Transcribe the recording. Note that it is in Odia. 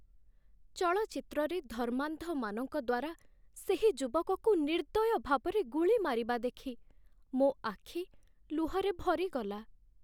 ଚଳଚ୍ଚିତ୍ରରେ ଧର୍ମାନ୍ଧମାନଙ୍କ ଦ୍ୱାରା ସେହି ଯୁବକକୁ ନିର୍ଦ୍ଦୟ ଭାବରେ ଗୁଳି ମାରିବା ଦେଖି ମୋ ଆଖି ଲୁହରେ ଭରିଗଲା